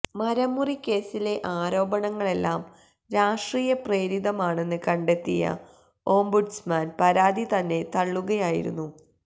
മരം മുറി കേസിലെ ആരോപണങ്ങളെല്ലാം രാഷ്ട്രീയ പ്രേരിതം ആണെന്ന് കണ്ടെത്തിയ ഓംബുഡ്സ്മാന് പരാതി തന്നെ തള്ളുകയായിരുന്നു